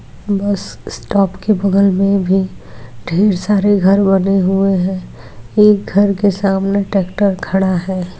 बस स्टॉप के बगल में ठेर सारे घर बने हुए है एक घर के सामने ट्रेक्टर खड़ा है।